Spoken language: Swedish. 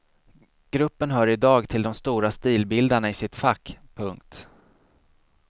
Gruppen hör i dag till de stora stilbildarna i sitt fack. punkt